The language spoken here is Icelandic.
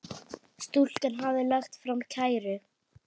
Stúlkan hafði lagt fram kæru.